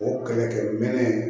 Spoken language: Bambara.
O kɛlɛkɛminɛn